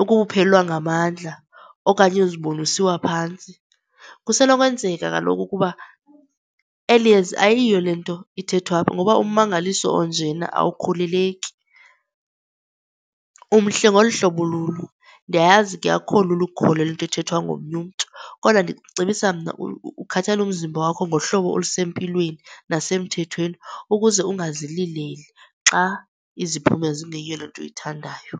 ukuphelelwa ngamandla, okanye uzibone usiwa phantsi? Kusenokwenzeka kaloku ukuba eli yeza ayiyo le nto ithethwa apha ngoba ummangaliso onjena awukholeleki. Umhle ngolu hlobo ululo. Ndiyayazi ke akukho lula ukukholelwa into ethethwa ngomnye umntu, kodwa ndicebisa mna ukhathalele umzimba wakho ngohlobo olusempilweni nasemthethweni ukuze ungazilileli xa iziphumo zingeyiyo le nto uyithandayo.